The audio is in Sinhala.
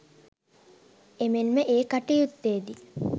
එමෙන්ම ඒ කටයුත්තේදී